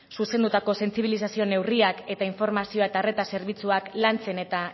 zuzendutako sentsibilizazio neurriak eta informazioa eta arreta zerbitzuak lantzen eta